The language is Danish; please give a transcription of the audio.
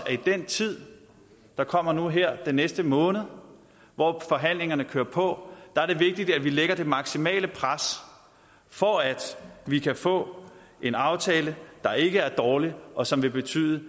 i den tid der kommer nu her den næste måned hvor forhandlingerne kører på er det vigtigt at vi lægger det maksimale pres for at vi kan få en aftale der ikke er dårlig og som vil betyde